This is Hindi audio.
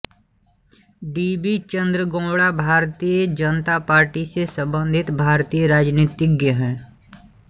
D B Chandregowda Bharatiya Janata Party से संबंधित भारतीय राजनीतिज्ञ हैं